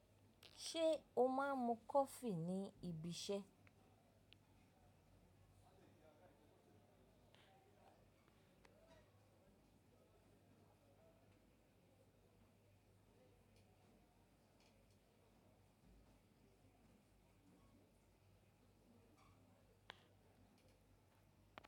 Ṣé o máa ń mu coffee ní ibi iṣẹ́?